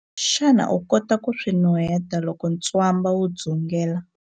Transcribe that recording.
Xana u kota ku swi nuheta loko ntswamba wu dzungela?